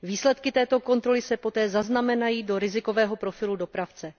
Výsledky této kontroly se poté zaznamenají do rizikového profilu dopravce.